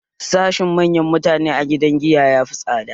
Sashen manyan mutane a gidan giya yafi tsada